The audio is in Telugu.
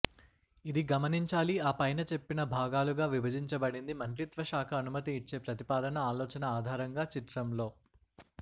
ఇది గమనించాలి ఆ పైన చెప్పిన భాగాలుగా విభజించబడింది మంత్రిత్వ శాఖ అనుమతి ఇచ్చే ప్రతిపాదన ఆలోచన ఆధారంగా చిత్రంలో